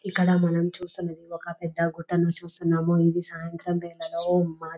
ఇక్కడ మనం చూస్తున్నాము ఒక పెద్ద హోటల్ ని చూస్తున్నాము ఇది సాయంత్రం వేళలో